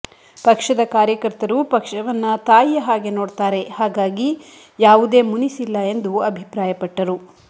ಪಕ್ಷದ ಕಾರ್ಯಕರ್ತರು ಪಕ್ಷವನ್ನ ತಾಯಿಯ ಹಾಗೆ ನೋಡ್ತಾರೆ ಹಾಗಾಗಿ ಯಾವುದೇ ಮುನಿಸಿಲ್ಲ ಎಂದು ಅಭಿಪ್ರಾಯ ಪಟ್ಟರು